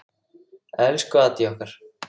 Elsku Addý okkar.